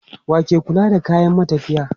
Wa ke kula da kayan matafiya?